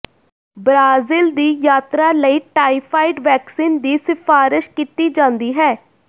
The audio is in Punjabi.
ਬ੍ਰਾਜ਼ੀਲ ਦੀ ਯਾਤਰਾ ਲਈ ਟਾਈਫਾਇਡ ਵੈਕਸੀਨ ਦੀ ਸਿਫਾਰਸ਼ ਕੀਤੀ ਜਾਂਦੀ ਹੈ